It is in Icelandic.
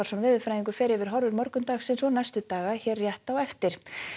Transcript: veðurfræðingur fer yfir horfur morgundagsins og næstu daga hér rétt á eftir